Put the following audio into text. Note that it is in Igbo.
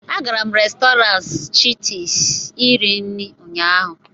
agara m Restọrantị chitis iri nri ụnyaahụ